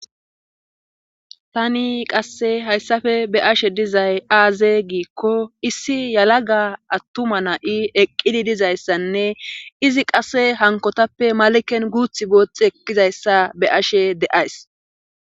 Tani qasse hayssafe be ashe dizay aaze giikko issi yalaga attuma na7i eqqidi dizayssanne izi qasse hankotappe maliken guuth boothth eqkizayssa be ashe de7ays